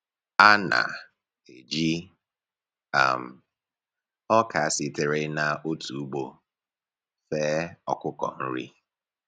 A na-eji um ọka sitere n’otu ugbo fee ọkụkọ nri.